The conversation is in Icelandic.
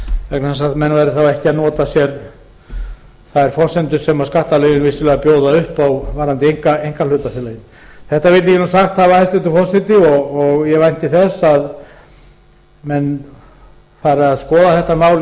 vegna þess að menn væru þá ekki að nota sér þær forsendur sem skattalögin bjóða vissulega upp á varðandi einkahlutafélögin þetta vildi ég sagt hafa hæstvirtur forseti ég vænti þess að menn fari að skoða